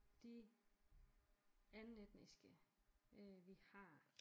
De andenetniske øh vi har